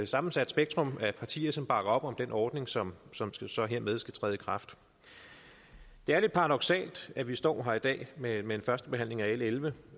sammensat spektrum af partier som bakker op om den ordning som som hermed skal træde i kraft det er lidt paradoksalt at vi står her i dag med en første behandling af l elleve